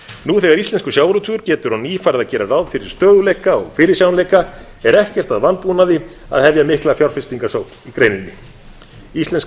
nú þegar íslenskur sjávarútvegur getur á ný farið að gera ráð fyrir stöðugleika og fyrirsjáanleika er ekkert að vanbúnaði að hefja mikla fjárfestingarsókn í greininni íslenskur